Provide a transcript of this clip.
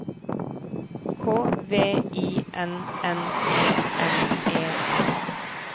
K V I N N E N E S